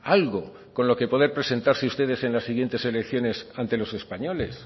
algo con lo que poder presentarse ustedes en las siguientes elecciones ante los españoles